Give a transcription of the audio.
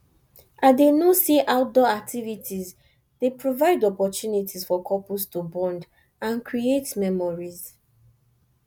i dey know say outdoor activities dey provide opportunities for couples to bond and create memories